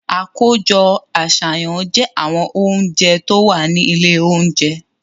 Àkójọ àṣàyàn jẹ́ àwọn oúnjẹ tó wà ní ilé oúnjẹ.